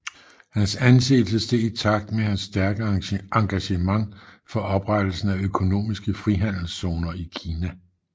Hans anseelse steg i takt med hans stærke engagement for oprettelsen af økonomiske frihandelszoner i Kina